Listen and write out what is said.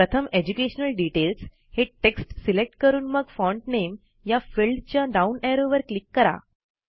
प्रथम educational details हे text select करून मग फॉन्ट नामे या फिल्डच्या डाऊन ऍरोवर क्लिक करा